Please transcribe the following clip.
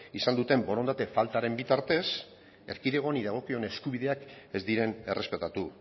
izan duten borondate faltaren bitartez erkidego honi dagokion eskubideak ez diren errespetatu